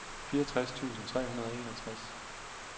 fireogtres tusind tre hundrede og enogtres